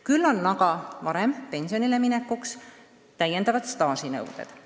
Küll on aga varem pensionile minekuks täiendavad staažinõuded.